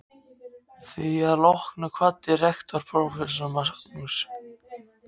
Að því loknu kvaddi rektor prófessor Magnús